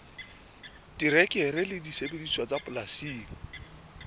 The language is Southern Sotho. terekere le disebediswa tsa polasing